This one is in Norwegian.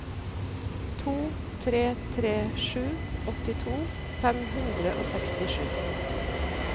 to tre tre sju åttito fem hundre og sekstisju